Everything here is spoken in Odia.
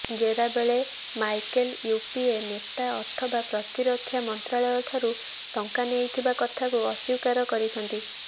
ଜେରା ବେଳେ ମାଇକେଲ୍ ୟୁପିଏ ନେତା ଅଥବା ପ୍ରତିରକ୍ଷା ମନ୍ତ୍ରାଳୟ ଠାରୁ ଟଙ୍କା ନେଇଥିବା କଥାକୁ ଅସ୍ବୀକାର କରିଛନ୍ତି